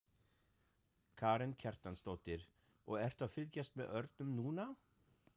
Karen Kjartansdóttir: Og ertu að fylgjast með örnum núna?